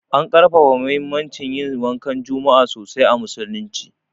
An ƙarfafa muhimmancin yin wankan juma'a sosai a musulunci.